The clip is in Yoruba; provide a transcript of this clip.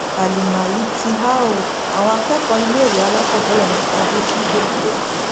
àlìmà yìí ti há ọ àwọn akẹkọọ iléèwé alákọọbẹrẹ mẹta ló jí gbé lẹkọọ